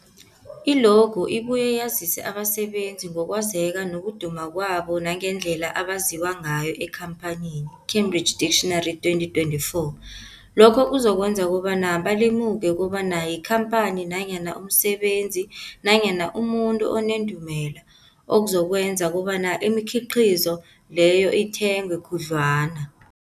I-logo ibuye yazise abasebenzisi ngokwazeka nokuduma kwabo nangendlela abaziwa ngayo emphakathini, Cambridge Dictionary, 2024. Lokho kuzokwenza kobana balemuke kobana yikhamphani nanyana umsebenzi nanyana umuntu onendumela, okuzokwenza kobana imikhiqhizo leyo ithengwe khudlwana.